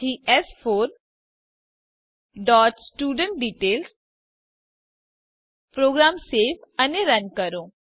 પછી એસ4 dot student detail program save અને રન કરો